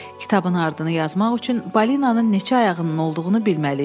Kitabın ardını yazmaq üçün balinanın neçə ayağının olduğunu bilməli idim.